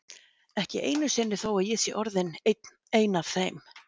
Ekki einu sinni þó að ég sé orðin ein af þeim.